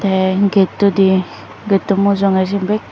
te getodi gato mujunge siyun bekh.